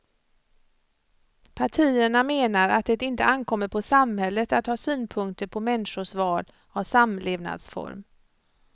Partierna menar att det inte ankommer på samhället att ha synpunkter på människors val av samlevnadsform.